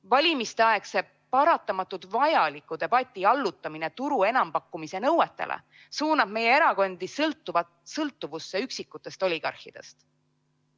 Valimisteaegse paratamatult vajaliku debati allutamine turu enampakkumise nõuetele suunab meie erakondi sõltuvusse üksikutest oligarhidest.